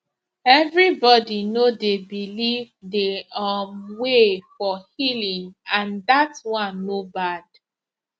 everybody no dey believe the um way for healing and that one no bad